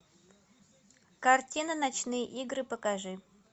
картина ночные игры покажи